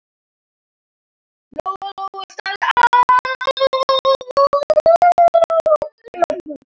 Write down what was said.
Lóa-Lóa starði á mömmu.